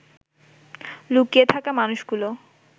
লুকিয়ে থাকা মানুষগুলো